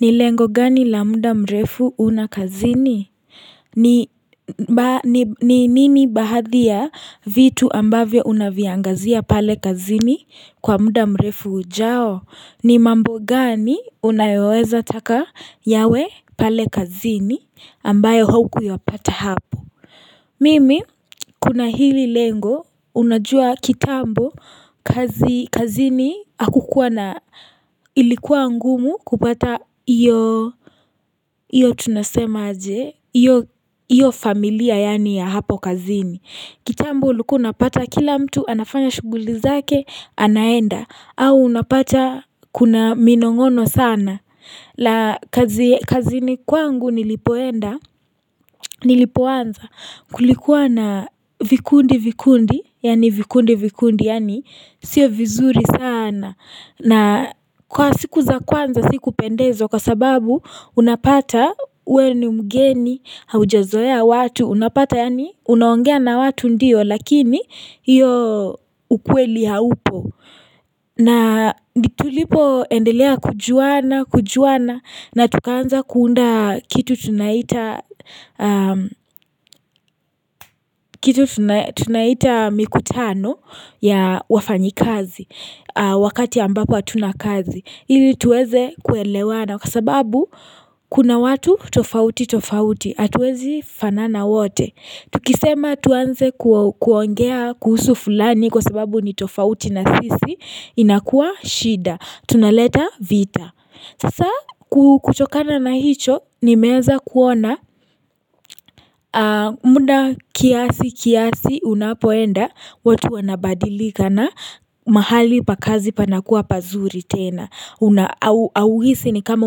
Ni lengo gani la mda mrefu una kazini ni ni nini bahadhi ya vitu ambavyo unaviangazia pale kazini kwa mda mrefu ujao ni mambo gani unayoweza taka yawe pale kazini ambayo huku yapata hapo mimi kuna hili lengo unajua kitambo kazi kazini akukuwa na ilikuwa ngumu kupata iyo Iyo tunasema aje Iyo familia yani ya hapo kazini kitambo ulikua unapata kila mtu anafanya shughuli zake anaenda au unapata kuna minong'ono sana la kazini kwangu nilipoenda Nilipoanza Kulikuwa na vikundi vikundi Yani vikundi vikundi Yani sio vizuri sana na kwa siku za kwanza sikupendwezo Kwa sababu unapata we ni mgeni haujazoea watu Unapata yaani unaongea na watu ndiyo lakini hiyo ukweli haupo na ndi tulipoendelea kujuana kujuana na tukaanza kuunda kitu tunaita tunaita mikutano ya wafanyikazi Wakati ambapo hatuna kazi ili tuweze kuelewana kwa sababu kuna watu tofauti tofauti, atuwezi fanana wote. Tukisema tuanze kuongea kuhusu fulani kwa sababu ni tofauti na sisi inakuwa shida. Tunaleta vita. Sasa kuchokana na hicho nimeeza kuona muda kiasi kiasi unapoenda watu wanabadilika na mahali pa kazi panakuwa pazuri tena. Auhisi ni kama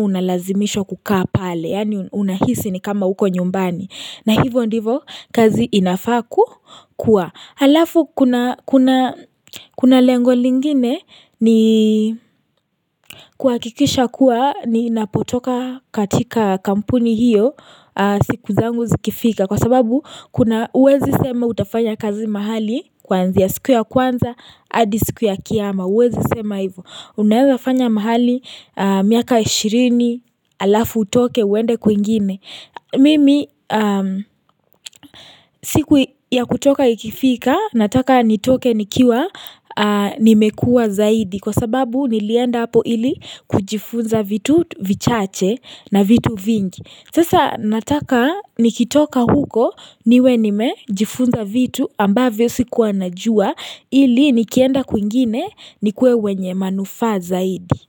unalazimishwa kukaa pale yani unahisi ni kama uko nyumbani na hivyo ndivo kazi inafaa ku kuwa halafu kuna lengo lingine ni kuakikisha kuwa ninapotoka katika kampuni hiyo siku zangu zikifika kwa sababu kuna uwezi sema utafanya kazi mahali kwanzia siku ya kwanza adi siku ya kiama uwezi sema hivyo Unaeza fanya mahali miaka 20 alafu utoke uende kwingine Mimi siku ya kutoka ikifika nataka nitoke nikiwa nimekua zaidi Kwa sababu nilienda hapo ili kujifunza vitu vichache na vitu vingi Sasa nataka nikitoka huko niwe nime jifunza vitu ambavyo sikuwa najua ili nikienda kwingine nikuwe wenye manufaa zaidi.